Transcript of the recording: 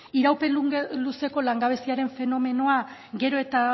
iraupen luzeko langabeziaren fenomenoa gero eta